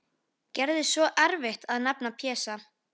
Gerði svo erfitt að nefna Pésa.